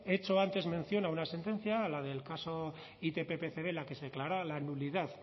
he hecho antes mención a una sentencia a la del caso itp pcb en la que se declaraba la nulidad